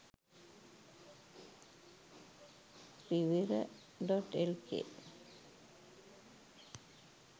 rivira.lk